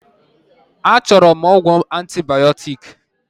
A chọrọ m ọgwụ antibioktik